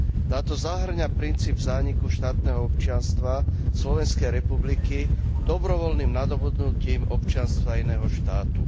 Táto zahŕňa princíp zániku štátneho občianstva Slovenskej republiky dobrovoľným nadobudnutím občianstva iného štátu.